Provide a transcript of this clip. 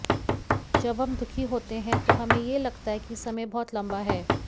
जब हम दुःखी होते हैं तो हमें यह लगता है कि समय बहुत लंबा है